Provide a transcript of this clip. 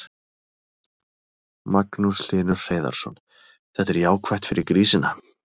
Magnús Hlynur Hreiðarsson: Þetta er jákvætt fyrir grísina?